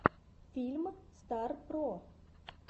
фильм стар про